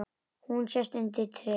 Hún sest undir tréð.